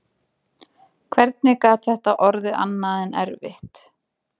hvernig gat þetta orðið annað en erfitt?